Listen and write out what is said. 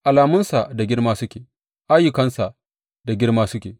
Alamunsa da girma suke, ayyukansa da girma suke!